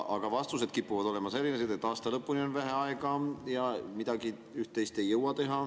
Aga vastused kipuvad olema sellised, et aasta lõpuni on vähe aega ja üht-teist ei jõua enam teha.